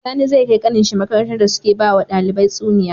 Sani zai kai kanin shi makarantar da suke bawa ɗalibai tsuniya